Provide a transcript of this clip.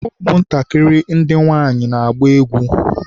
ụmụ ntakịrị ndị nwanyị na-agba egwu.